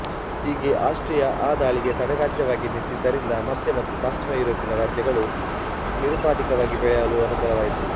ಹೀಗೆ ಆಸ್ಟ್ರಿಯ ಆ ದಾಳಿಗೆ ತಡೆರಾಜ್ಯವಾಗಿ ನಿಂತಿದ್ದರಿಂದ ಮಧ್ಯ ಮತ್ತು ಪಶ್ಚಿಮ ಯುರೋಪಿನ ರಾಜ್ಯಗಳು ನಿರುಪಾಧಿಕವಾಗಿ ಬೆಳೆಯಲನುಕೂಲವಾಯಿತು